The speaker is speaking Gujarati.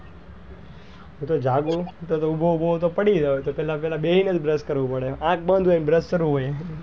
હું તો જાગું તો તો ઉભો ઉભો હું તો પડી જવાય તો પેલા પેલા બેસી ને જ brush કરવું પડે અંખ બંદ હોય ને brush કરવું પડે.